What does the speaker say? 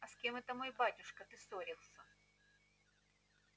а с кем это мой батюшка ты ссорился